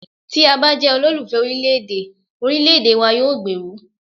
Tí a bá jẹ́ olólùfẹ́ orílẹ̀ èdè, orílẹ̀èdè wa yóò gbèrú.